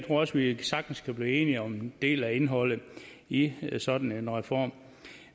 også vi sagtens kan blive enige om en del af indholdet i sådan en reform